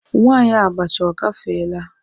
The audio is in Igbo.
Nwanyi abacha ogafeela?